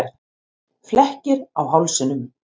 Flekkir á hálsinum.